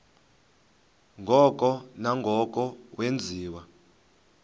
ngoko nangoko wenziwa